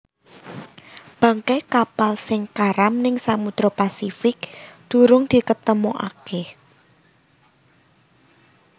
Bangkai kapal sing karam ning samudra Pasifik durung diketemoake